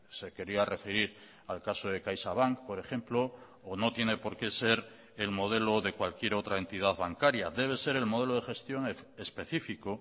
se quería referir al caso de caixabank por ejemplo o no tiene por qué ser el modelo de cualquier otra entidad bancaria debe ser el modelo de gestión específico